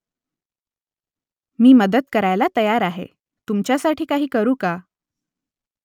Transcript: मी मदत करायला तयार आहे . तुमच्यासाठी काही करू का ?